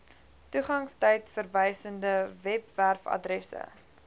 toegangstyd verwysende webwerfaddresse